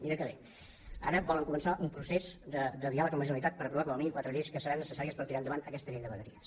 mira que bé ara volen començar un procés de diàleg amb la generalitat per aprovar com a mínim quatre lleis que seran necessàries per tirar endavant aquesta llei de vegueries